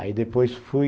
Aí depois fui...